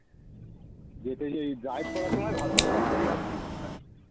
যেতে যে এই drive করার সময় ভালো লাগে বাকি আর কিছু ভালো লাগে না